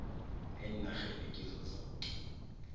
eenarheni kizo zoke